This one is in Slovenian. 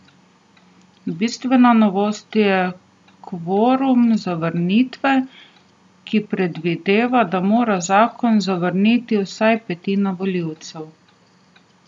Bistvena novost je kvorum zavrnitve, ki predvideva, da mora zakon zavrniti vsaj petina volivcev.